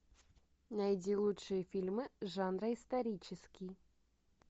найди лучшие фильмы жанра исторический